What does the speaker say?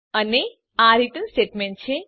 અને આ return statement છે